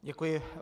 Děkuji.